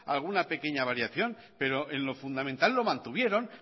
alguna pequeña variación pero en lo fundamental lo mantuvieron